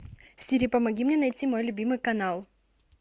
сири помоги мне найти мой любимый канал